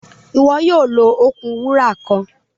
Iwọ yoo lo okun wura kan.